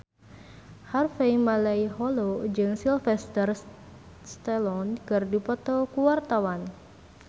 Harvey Malaiholo jeung Sylvester Stallone keur dipoto ku wartawan